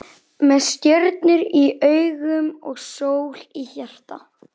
Með stjörnur í augum og sól í hjarta.